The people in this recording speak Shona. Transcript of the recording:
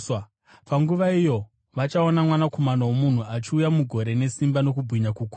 Panguva iyo vachaona Mwanakomana woMunhu achiuya mugore nesimba nokubwinya kukuru.